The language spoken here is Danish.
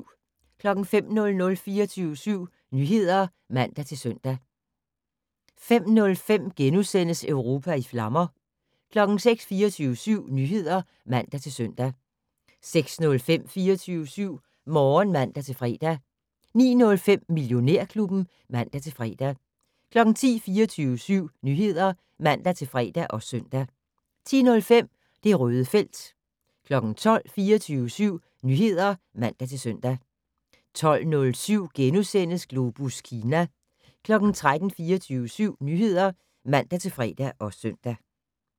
05:00: 24syv Nyheder (man-søn) 05:05: Europa i flammer * 06:00: 24syv Nyheder (man-søn) 06:05: 24syv Morgen (man-fre) 09:05: Millionærklubben (man-fre) 10:00: 24syv Nyheder (man-fre og søn) 10:05: Det Røde felt 12:00: 24syv Nyheder (man-søn) 12:07: Globus Kina * 13:00: 24syv Nyheder (man-fre og søn)